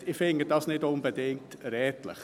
Ich finde dies nicht unbedingt redlich.